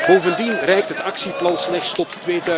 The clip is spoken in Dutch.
Bovendien reikt het actieplan slechts tot